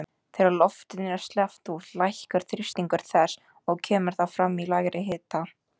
Þegar loftinu er sleppt út lækkar þrýstingur þess og kemur það fram í lægri hita.